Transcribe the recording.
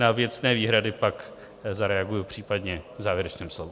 Na věcné výhrady pak zareaguji případně v závěrečném slovu.